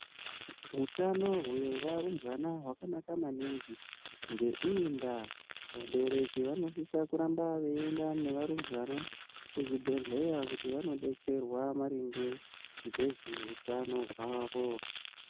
Hutano hwevarumbwana hwakanaka aningi ngeiyi ndaa vabereki vanosisa kuramba veienda nevarumbwana kuzvibhedhleya kuti vanodetserwa maringe ngezveutano hwavo.